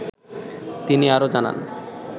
তিনি আরো জানান